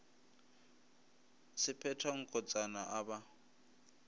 se phetha nkotsana a ba